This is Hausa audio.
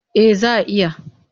Eh za a iya.